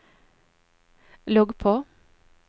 logg på